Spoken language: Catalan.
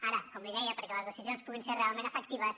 ara com li deia perquè les decisions puguin ser realment efectives